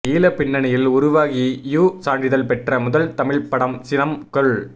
ஈழ பின்னணியில் உருவாகி யு சான்றிதழ் பெற்ற முதல் தமிழ்ப் படம் சினம் கொள்